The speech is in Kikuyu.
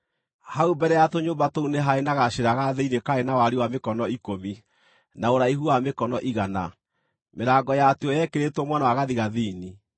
Hau mbere ya tũnyũmba tũu nĩ haarĩ na gacĩra ga thĩinĩ karĩ na wariĩ wa mĩkono ikũmi, na ũraihu wa mĩkono igana. Mĩrango yatuo yekĩrĩtwo mwena wa gathigathini.